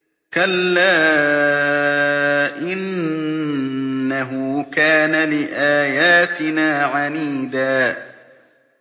كَلَّا ۖ إِنَّهُ كَانَ لِآيَاتِنَا عَنِيدًا